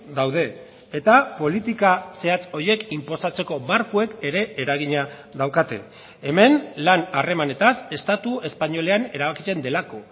daude eta politika zehatz horiek inposatzeko markoek ere eragina daukate hemen lan harremanetaz estatu espainolean erabakitzen delako